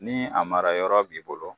Ni a mara yɔrɔ b'i bolo